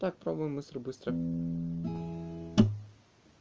так пробуем быстро быстро